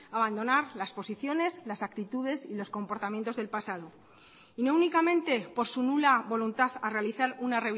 a abandonar las posiciones las actitudes y los comportamientos del pasado y no únicamente por su nula voluntad a realizar una